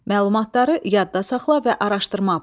Məlumatları yadda saxla və araşdırma apar.